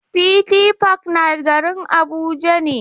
City park na garin Abuja ne.